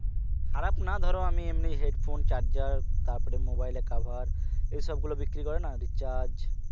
খারাপ না ধরো আমি এমনি headphone charger তারপরে mobile এর cover এসব গুলো বিক্রি করে না recharge